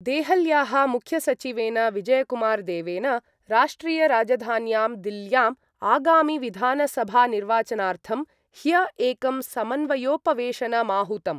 देहल्याः मुख्यसचिवेन विजयकुमारदेवेन राष्ट्रियराजधान्यां दिल्ल्याम् आगामिविधानसभानिर्वाचनार्थं ह्य एकं समन्वयोपवेशनमाहूतम्।